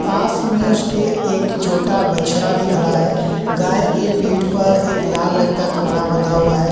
पास में उसके एक छोटा बछड़ा भी खड़ा है गाय के पीठ पर एक लाल रंग का कपड़ा बांध हुआ है।